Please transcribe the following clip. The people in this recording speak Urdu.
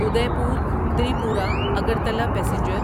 ادیپور تریپورا اگرتلا پیسنجر